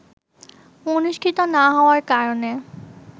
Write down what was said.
অনুষ্ঠিত না হওয়ার কারণে